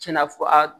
Tiɲɛna fɔ a